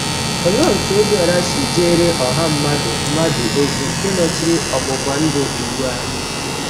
Olee otú Ọbiọra si jeere ọha mmadụ mmadụ ozi nke nọchiri ọgbụgba ndụ Iwu ahụ?